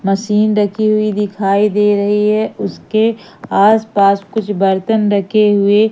machine रखी हुई दिखाई दे रही है उसके आसपास कुछ बर्तन रखे हुए--